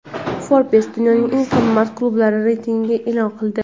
"Forbes" dunyoning eng qimmat klublari reytingini e’lon qildi.